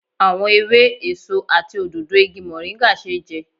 Àwọn ewé, èso àti òdòdó igi moringa ṣeé jẹ